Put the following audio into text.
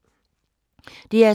DR2